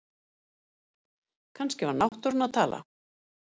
Kannski var náttúran að tala